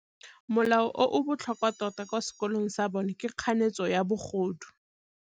Molao o o botlhokwa tota kwa sekolong sa bone ke kganetsô ya bogodu.